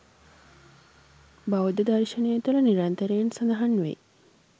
බෞද්ධ දර්ශනය තුළ නිරන්තරයෙන් සඳහන් වෙයි.